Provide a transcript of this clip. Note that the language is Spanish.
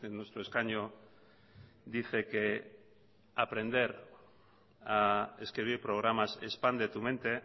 nuestro escaño dice que aprender a escribir programas expande tu mente